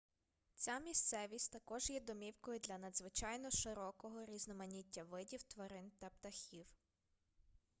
ця місцевість також є домівкою для надзвичайно широкого різноманіття видів тварин та птахів